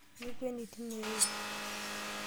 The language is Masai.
Mikweni tine ero.